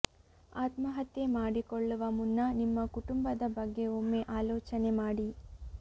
ಆತ್ಮಹತ್ಯೆ ಮಾಡಿಕೊಳ್ಳುವ ಮುನ್ನ ನಿಮ್ಮ ಕುಟುಂಬದ ಬಗ್ಗೆ ಒಮ್ಮೆ ಆಲೋಚನೆ ಮಾಡಿ